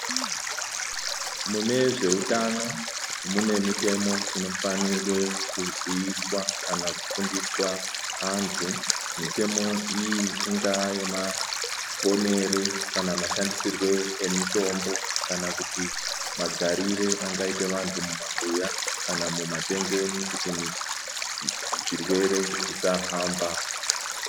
Munezveutano mune mitemo inofanirwe kuziviswa kana kufundiswa antu, mitemo iyi ingava yemaponero kana mashandisirwe emitombo kana magarire angaite vantu mumabuya kana mumatengeni kuti zvirwere zvisafamba.